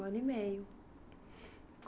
Um ano e meio.